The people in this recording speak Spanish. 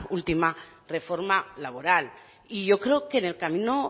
última reforma laboral y yo creo que en el camino